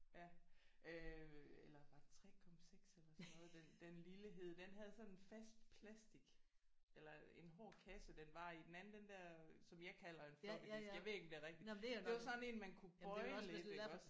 Ja. Øh eller var det 3,6 eller sådan noget den den lille hed? Den havde sådan fast plastik eller en hård kasse den var i. Den anden den der som jeg kalder en floppy disk jeg ved ikke om det er rigtigt det var sådan en man kunne bøje lidt iggås?